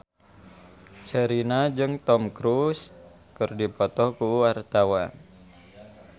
Sherina jeung Tom Cruise keur dipoto ku wartawan